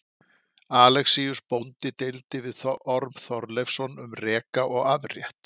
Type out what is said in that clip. Alexíus bóndi deildi við Orm Þorleifsson um reka og afrétt.